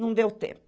Não deu tempo.